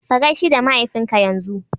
Ka gaishi da mahaifinka yanzu!